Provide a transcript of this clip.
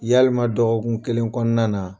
Yalima dɔgɔkun kelen kɔnɔna na